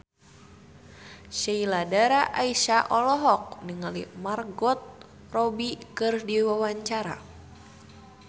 Sheila Dara Aisha olohok ningali Margot Robbie keur diwawancara